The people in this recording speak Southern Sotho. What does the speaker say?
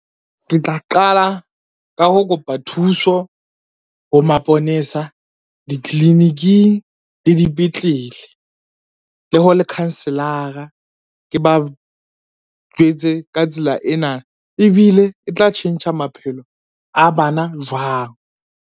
Ke tla qala ka ho kopa thuso ho maponesa, ditliliniking, le dipetlele le ho lekhanselara. Ke ba jwetse ka tsela ena ebile e tla tjhentjha maphelo a bana jwang.